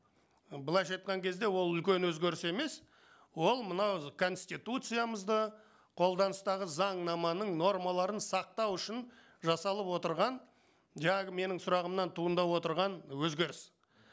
былайша айтқан кезде ол үлкен өзгеріс емес ол мынау конституциямызды қолданыстағы заңнаманың нормаларын сақтау үшін жасалып отырған жаңағы менің сұрағымнан туындап отырған өзгеріс